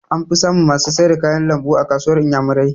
An fi samun masu sayar da kayan lambu a kasuwar inyamurai